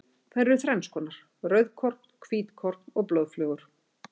Þær eru þrennskonar, rauðkorn, hvítkorn og blóðflögur.